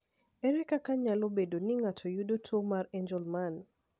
Ere kaka nyalo bedo ni ng’ato yudo tuwo mar Angelman?